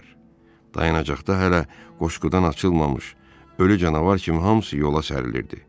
Dayanacaqda hələ qoşqudan açılmamış ölü canavar kimi hamısı yola sərilirdi.